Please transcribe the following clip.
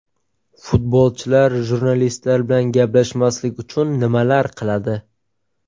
Futbolchilar jurnalistlar bilan gaplashmaslik uchun nimalar qiladi?